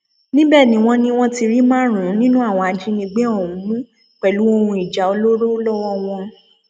níbẹ ni wọn ni wọn ti rí márùnún nínú àwọn ajínigbé ọhún mú pẹlú ohun ìjà olóró lọwọ wọn